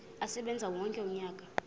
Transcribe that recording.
asebenze wonke umnyaka